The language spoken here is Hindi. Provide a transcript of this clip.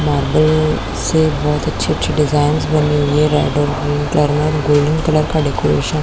मार्बल में बहोत अच्छी-अच्छी डिजाइंस बनी हुई है रेड और ग्रीन कलर में और गोल्डन कलर का डेकोरेशन --